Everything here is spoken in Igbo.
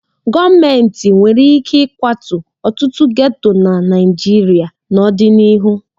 Gọọmentị nwere ike ịkwatu ọtụtụ geto na Naịjirịa n'ọdịnihu.